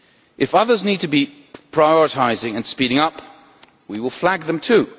If others need to be prioritising and speeding up, we will flag them too.